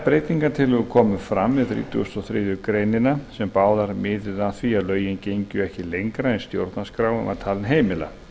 breytingartillögur komu fram við þrítugustu og þriðju grein sem báðar miðuðu að því að lögin gengju ekki lengra en stjórnarskráin var talin heimila